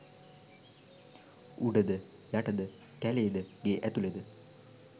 උඩද යටද කැලේද ගේ ඇතුළෙද